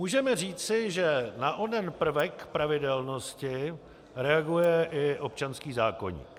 Můžeme říci, že na onen prvek pravidelnosti reaguje i občanský zákoník.